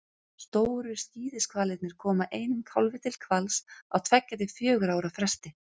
stóru skíðishvalirnir koma einum kálfi til hvals á tveggja til fjögurra ára fresti